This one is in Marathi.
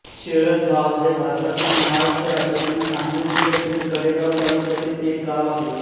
शेळकबाव हे भारतातील महाराष्ट्र राज्यातील सांगली जिल्ह्यातील कडेगांव तालुक्यातील एक गाव आहे